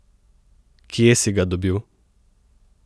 Kje si ga dobil?